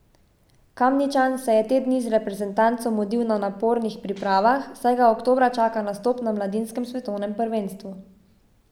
Kamničan se je te dni z reprezentanco mudil na napornih pripravah, saj ga oktobra čaka nastop na mladinskem svetovnem prvenstvu.